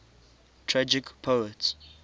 tragic poets